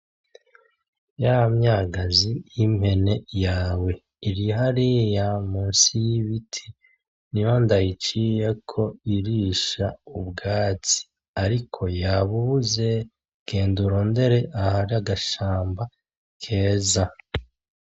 Ya myagazi y’impene yawe iri hariya munsi y’ibiti niho ndayiciyeko irisha ubwatsi ariko yabubuze, genda urondere ahari agashamba keza.